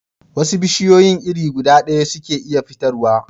Wasu bishiyun iri guda daya suke iya fitar wa